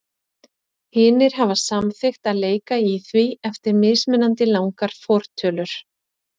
Hinir hafa samþykkt að leika í því eftir mismunandi langar fortölur.